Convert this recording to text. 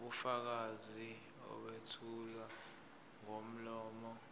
ubufakazi obethulwa ngomlomo